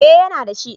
Eh yana da shi